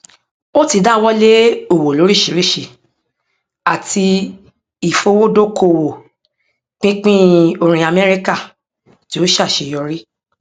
ó ti dáwọlé òwò lóríṣiríṣi àti ìfowódókòwò pínpín orin amẹríkà tí ó ṣe àṣeyọrí